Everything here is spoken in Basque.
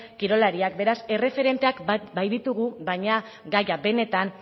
kirolariak beraz erreferenteak baditugu baina gaia benetan